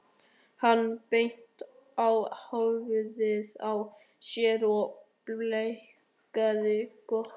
Hann benti á höfuðið á sér og blikkaði Kobba.